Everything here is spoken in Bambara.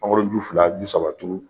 Mangoro ju fila ju saba turu.